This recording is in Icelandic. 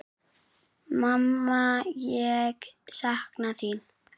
Mamma ég sakna þín.